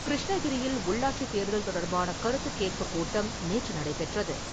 கிருஷ்ணகிரியில் உள்ளாட்சி தேர்தல் தொடர்பான கருத்து கேட்பு கூட்டம் நேற்று நடைபெற்றது.